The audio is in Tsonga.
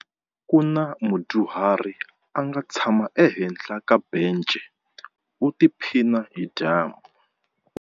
Ku na mudyuhari a nga tshama ehenhla ka bence u tiphina hi dyambu.